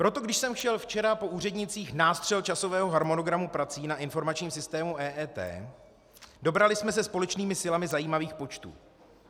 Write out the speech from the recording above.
Proto když jsem chtěl včera po úřednících nástřel časového harmonogramu prací na informačním systému EET, dobrali jsme se společnými silami zajímavých počtů.